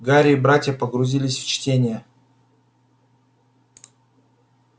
гарри и братья погрузились в чтение